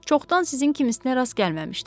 Çoxdan sizin kimisinə rast gəlməmişdim.